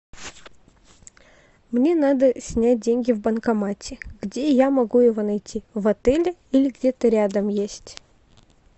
мне надо снять деньги в банкомате где я могу его найти в отеле или где то рядом есть